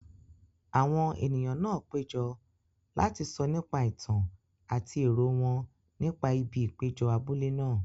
Àwọn ènìyàn náà péjọ láti sọ nípa ìtàn àti èrò wọn nípa ibi ìpéjọ abúlé náà.